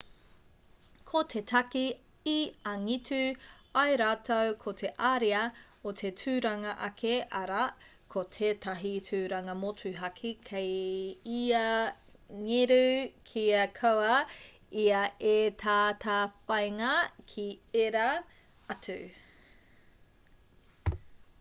ko te take i angitu ai rātou ko te ariā o te tūranga ake arā ko tētahi tūranga motuhake kei ia ngeru kia kaua ia e tatawhāinga ki ērā atu